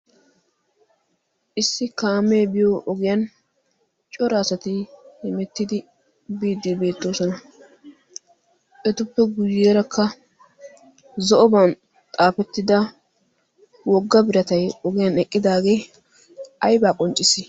issi kaamee biyo ogiyan coraasati himettidi biiddi beettoosona. etuppe guyyeerakka zo'oban xaafettida wogga biratay ogiyan eqqidaagee aibaa qonccisa.